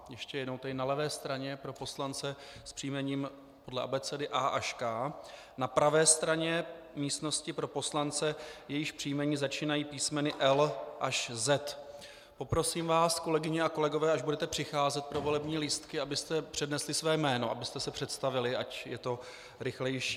Ještě jednou tedy: na levé straně pro poslance s příjmením podle abecedy A až K, na pravé straně místnosti pro poslance, jejichž příjmení začínají písmeny L až Z. Poprosím vás, kolegyně a kolegové, až budete přicházet pro volební lístky, abyste přednesli své jméno, abyste se představili, ať je to rychlejší.